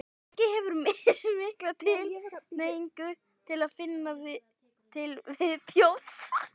fólk hefur mismikla tilhneigingu til að finna til viðbjóðs